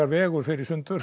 vegur fer í sundur